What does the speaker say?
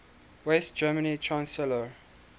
west german chancellor